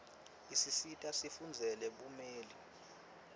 isisita sifundzele bumeli